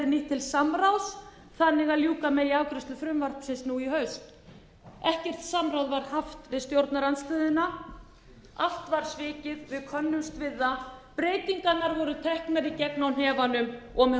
til samráðs þannig að ljúka megi afgreiðslu frumvarpsins nú í haust ekkert samráð var haft við stjórnarandstöðuna allt var svikið við könnumst við það breytingarnar voru teknar í gegn á hnefanum og með